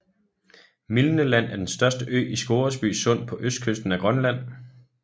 Milne Land er den største ø i Scoresby Sund på østkysten af Grønland